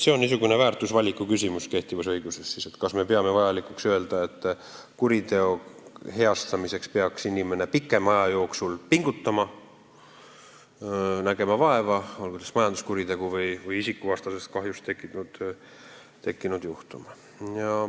See on kehtivas õiguses väärtusvaliku küsimus: kas me peame vajalikuks, et kuriteo heastamiseks peab inimene pikema aja jooksul pingutama, vaeva nägema, olgu see siis majanduskuriteost või isikuvastasest teost tekkinud kahju?